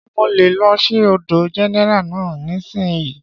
Ṣé mo lè lọ sí ọ̀dọ̀ gẹ́nẹ́rà náà nísìínyi?